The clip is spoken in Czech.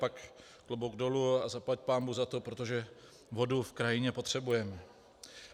Pak klobouk dolů a zaplať pánbůh za to, protože vodu v krajině potřebujeme.